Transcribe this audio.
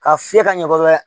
Ka fiyɛ ka ɲɛ kosɛbɛ